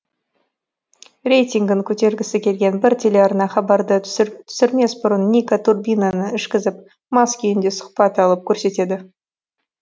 рейтингін көтергісі келген бір телеарна хабарды түсірмес бұрын ника турбинаны ішкізіп мас күйінде сұхбат алып көрсетеді